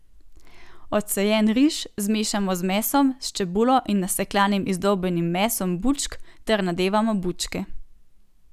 Odcejen riž zmešamo z mesom s čebulo in nasekljanim izdolbenim mesom bučk ter nadevamo bučke.